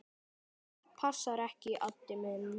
Það passar ekki, Addi minn.